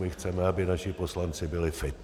My chceme, aby naši poslanci byli fit.